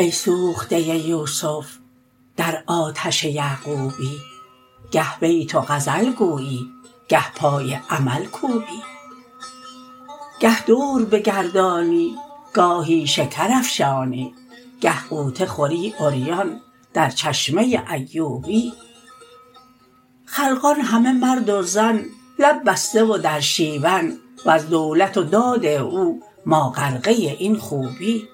ای سوخته یوسف در آتش یعقوبی گه بیت و غزل گویی گه پای عمل کوبی گه دور بگردانی گاهی شکر افشانی گه غوطه خوری عریان در چشمه ایوبی خلقان همه مرد و زن لب بسته و در شیون وز دولت و داد او ما غرقه این خوبی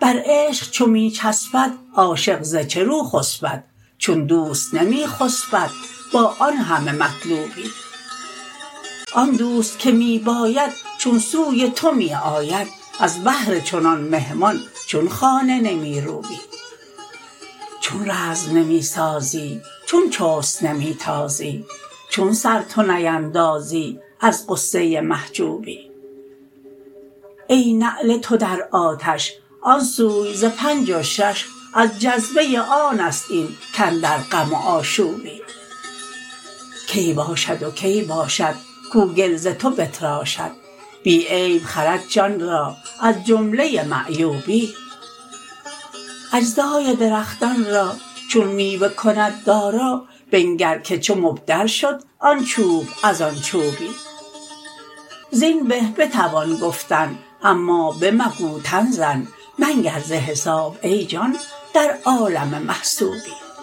بر عشق چو می چسبد عاشق ز چه رو خسپد چون دوست نمی خسپد با آن همه مطلوبی آن دوست که می باید چون سوی تو می آید از بهر چنان مهمان چون خانه نمی روبی چون رزم نمی سازی چون چست نمی تازی چون سر تو نیندازی از غصه محجوبی ای نعل تو در آتش آن سوی ز پنج و شش از جذبه آن است این کاندر غم و آشوبی کی باشد و کی باشد کو گل ز تو بتراشد بی عیب خرد جان را از جمله معیوبی اجزای درختان را چون میوه کند دارا بنگر که چه مبدل شد آن چوب از آن چوبی زین به بتوان گفتن اما بمگو تن زن منگر ز حساب ای جان در عالم محسوبی